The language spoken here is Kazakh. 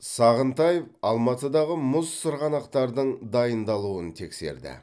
сағынтаев алматыдағы мұз сырғанақтардың дайындалуын тексерді